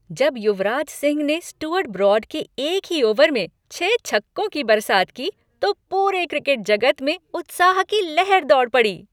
जब युवराज सिंह ने Stuart Broad के एक ही ओवर में छह छक्कों की बरसात की, तो पूरे क्रिकेट जगत में उत्साह की लहर दौड़ पड़ी।